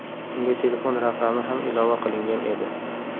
Unga telefon raqami ham ilova qilingan edi.